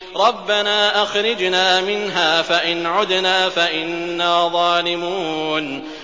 رَبَّنَا أَخْرِجْنَا مِنْهَا فَإِنْ عُدْنَا فَإِنَّا ظَالِمُونَ